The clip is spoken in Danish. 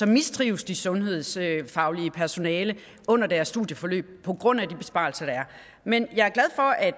mistrives det sundhedsfaglige personale under deres studieforløb på grund af de besparelser der er men jeg